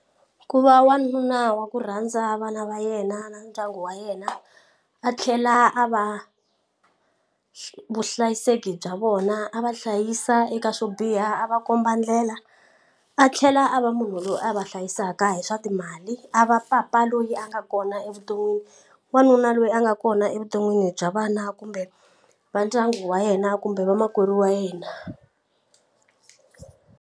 Ku va wanuna wa ku rhandza vana va yena na ndyangu wa yena a tlhela a va vuhlayiseki bya vona a va hlayisa eka swo biha a va komba ndlela a tlhela a va munhu loyi a va hlayisaka hi swa timali a va papa loyi a nga kona evuton'wini wanuna loyi a nga kona evuton'wini bya vana kumbe va ndyangu wa yena kumbe vamakwerhu wa yena.